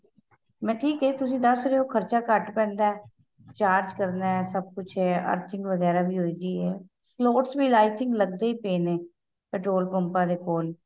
ਮੈਂ ਠੀਕ ਏ ਤੁਸੀਂ ਦੱਸ ਰਹੇ ਹੋ ਖਰਚਾ ਘੱਟ ਪੈਂਦਾ ਏ charge ਕਰਨਾ ਏ ਸਭ ਕੁੱਛ ਏ ਵਗੇਰਾ ਵੀ ਹੋ ਗਈ ਏ slots ਵੀ i think ਲੱਗਦੇ ਹੀ ਪਏ ਨੇ petrol ਪੰਪਾਂ ਦੇ ਕੋਲ